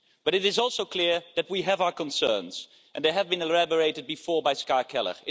But it is also clear that we have our concerns, and they have been elaborated before by Ska Keller.